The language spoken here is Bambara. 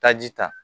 Taji ta